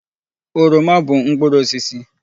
Oroma bụ mkpụrụ osisi.